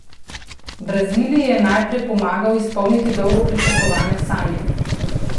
Braziliji je najprej pomagal izpolniti dolgo pričakovane sanje.